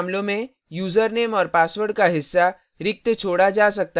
ऐसे मामलों में यूज़रनेम और password का हिस्सा रिक्त छोड़ा जा सकता है